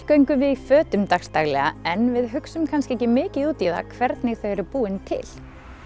göngum við í fötum dags daglega en við hugsum kannski ekki mikið út í það hvernig þau eru búin til